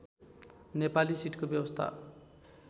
नेपाली सिटको व्यवस्था